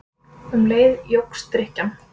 Um leið jókst drykkjan.